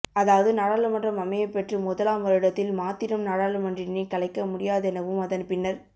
அதாவது நாடாளுமன்றம் அமையப்பெற்று முதலாம் வருடத்தில் மாத்திரம் நாடாளுமன்றினை கலைக்க முடியாதெனவும் அதன் பின்னர்